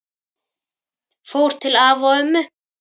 Fór til afa og ömmu.